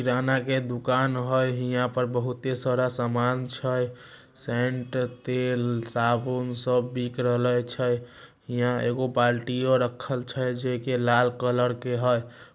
किराना के दुकान हय। हीहा पर बहुते सारा सामान छे। शेंट तेल साबुन सब बिक रहल छै। हीहा एगो बाल्टीओ रखल छे जेके लाल कलर के है।